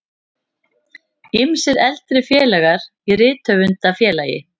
Ýmsir eldri félagar í Rithöfundafélagi